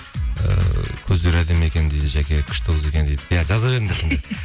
ііі көздері әдемі екен дейді жаке күшті қыз екен дейді иә жаза